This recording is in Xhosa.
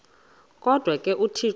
kodwa ke uthixo